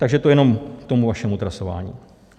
Takže to jenom k tomu vašemu trasování.